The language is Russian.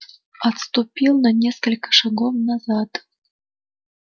отступил на несколько шагов назад